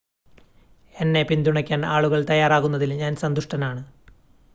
എന്നെ പിന്തുണയ്ക്കാൻ ആളുകൾ തയ്യാറാകുന്നതിൽ ഞാൻ സന്തുഷ്ടനാണ്